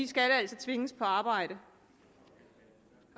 skal tvinges på arbejde